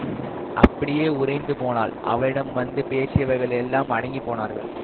அப்படியே உறைந்து போனாள் அவளிடம் வந்து பேசியவர்கள் எல்லாம் அடங்கிப் போனார்கள்